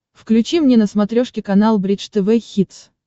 включи мне на смотрешке канал бридж тв хитс